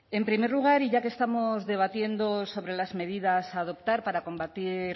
en primer lugar y ya que estamos debatiendo sobre las medidas a adoptar para combatir